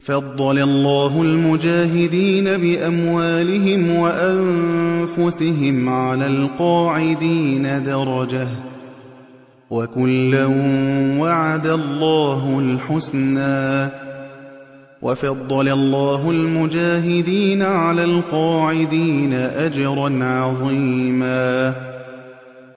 فَضَّلَ اللَّهُ الْمُجَاهِدِينَ بِأَمْوَالِهِمْ وَأَنفُسِهِمْ عَلَى الْقَاعِدِينَ دَرَجَةً ۚ وَكُلًّا وَعَدَ اللَّهُ الْحُسْنَىٰ ۚ وَفَضَّلَ اللَّهُ الْمُجَاهِدِينَ عَلَى الْقَاعِدِينَ أَجْرًا عَظِيمًا